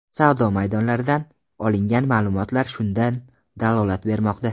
Savdo maydonlaridan olingan ma’lumotlar shundan dalolat bermoqda.